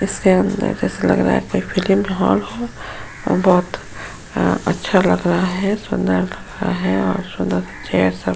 इसके अंदर जैसा लग रहा है कोई हॉल हो। बोहोत अच्छा लग रहा है सुंदर लग रहा है और --